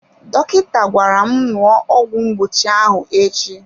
Dọkịta gwara m ṅụọ ọgwụ mgbochi ahụ echi.